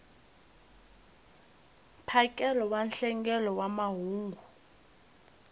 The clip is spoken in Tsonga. mphakelo wa nhlengelo wa mahungu